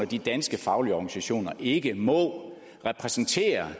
de danske faglige organisationer ikke må repræsentere